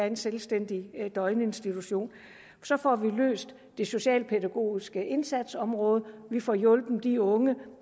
en selvstændig døgninstitution så får vi løst opgaven det socialpædagogiske indsatsområde og vi får hjulpet de unge